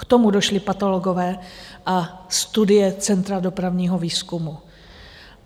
K tomu došli patologové a studie Centra dopravního výzkumu.